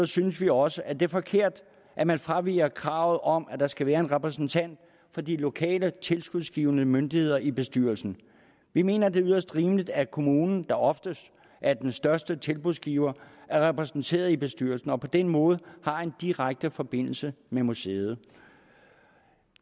synes vi også at det er forkert at man fraviger kravet om at der skal være en repræsentant fra de lokale tilskudsgivende myndigheder i bestyrelsen vi mener at det er yderst rimeligt at kommunen der oftest er den største tilskudsgiver er repræsenteret i bestyrelsen og på den måde har en direkte forbindelse med museet